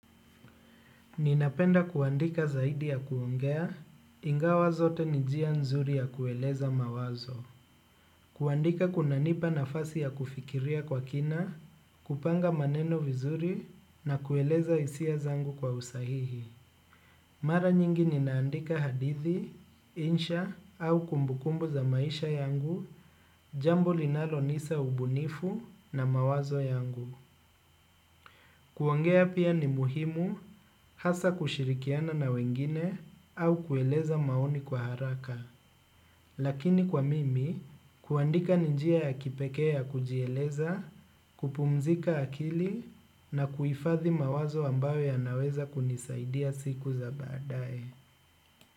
Ninapenda kuandika zaidi ya kuongea, ingawa zote ni njia nzuri ya kueleza mawazo. Kuandika kuna nipa nafasi ya kufikiria kwa kina, kupanga maneno vizuri na kueleza hisia zangu kwa usahihi. Mara nyingi nina andika hadithi, insha au kumbukumbu za maisha yangu, jambo linalo nisa ubunifu na mawazo yangu. Kuongea pia ni muhimu hasa kushirikiana na wengine au kueleza maoni kwa haraka, lakini kwa mimi kuandika ninjia ya kipekee kujieleza, kupumzika akili na kuifadhi mawazo ambayo ya naweza kunisaidia siku za baadae.